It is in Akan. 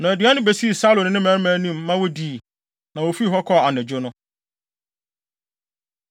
Ɔde aduan no besii Saulo ne ne mmarima no anim ma wodii. Na wofii hɔ kɔɔ anadwo no.